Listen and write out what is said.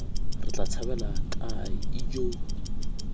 re tla tshabela kae ijoo